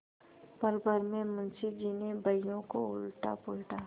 पलभर में मुंशी जी ने बहियों को उलटापलटा